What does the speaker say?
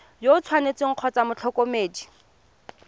yo o tshwanetseng kgotsa motlhokomedi